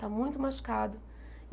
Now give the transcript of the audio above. Está muito machucado.